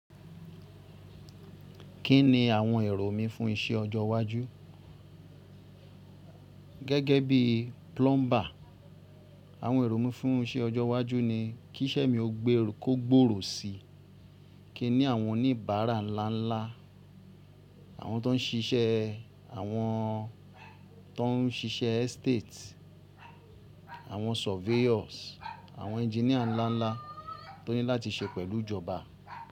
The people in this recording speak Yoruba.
Kí ni àwọn èrò mi fún iṣẹ́ ọjọ́ iwájú? Gẹ́gẹ́ bíi plumber, àwọn èrò mi fún iṣẹ́ ọjọ́ iwájú ni kí iṣẹ́ mi ó gbèrò kó gbòrò si, kí n ní àwọn oníbàárà ńlá ńlá, àwọn tó ń ṣiṣẹ́, àwọn tó ń ṣiṣẹ́ estate, àwọn surveyors, àwọn engineer ńlá ńlá tó ní láti ṣe pẹ̀lú ìjọba.